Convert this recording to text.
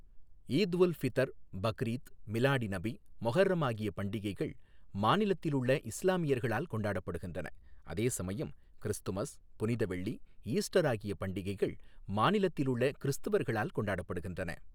ஈத் உல் ஃபிதர், பக்ரீத், மிலாடி நபி, முஹர்ரம் ஆகிய பண்டிகைகள் மாநிலத்திலுள்ள இஸ்லாமியர்களால் கொண்டாடப்படுகின்றன அதே சமயம் கிறிஸ்துமஸ், புனித வெள்ளி, ஈஸ்டர் ஆகிய பண்டிகைகள் மாநிலத்திலுள்ள கிறிஸ்துவர்களால் கொண்டாடப்படுகின்றன.